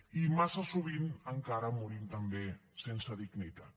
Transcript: i massa sovint encara morim també sense dignitat